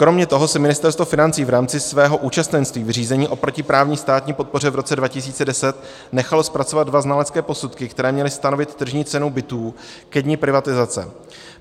Kromě toho si Ministerstvo financí v rámci svého účastenství v řízení o protiprávní státní podpoře v roce 2010 nechalo zpracovat dva znalecké posudky, které měly stanovit tržní cenu bytů ke dni privatizace.